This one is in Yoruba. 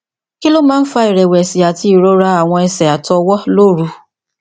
kí ló máa ń fa ìrẹwẹsì àti irora àwọn ẹsẹ àti ọwọ lóru